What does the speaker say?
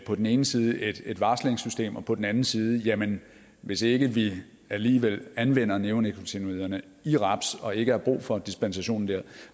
på den ene side et varslingssystem og på den anden side jamen hvis ikke vi alligevel anvender neonikotinoiderne i raps og ikke har brug for dispensationen der